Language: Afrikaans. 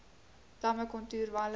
damme kontoer walle